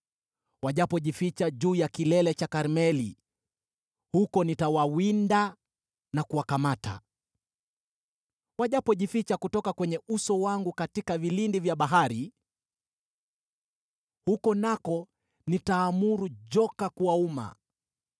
Wajapojificha juu ya kilele cha Karmeli, huko nitawawinda na kuwakamata. Wajapojificha kutoka kwenye uso wangu katika vilindi vya bahari, huko nako nitaamuru joka kuwauma.